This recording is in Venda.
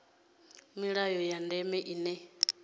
na milayo ya ndeme ine